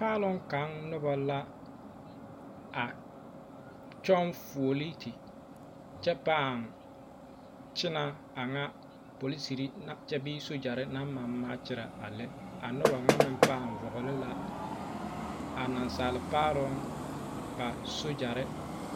Paaloŋ kaŋ noba la a kyɔŋ fuoliiti kyɛ paa kyɛnɛ aŋa polisiri kyɛ bee sogyare naŋ maŋ maakyɛrɛ a lɛ a noba ŋa meŋ pàà vɔgele la a naasaal Paaloŋ boma sogyare